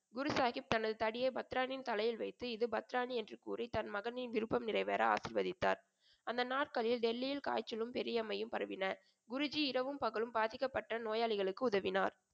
குருசாகிப் தனது தடியை பத்ராணியின் தலையில் வைத்து இது பத்ராணி என்று கூறி தன் மகனின் விருப்பம் நிறைவேற ஆசிர்வதித்தார். அந்த நாட்களில் டெல்லியில் காய்ச்சலும், பெரியம்மையும் பரவின. குருஜி இரவும் பகலும் பாதிக்கப்பட்ட நோயாளிகளுக்கு உதவினார்.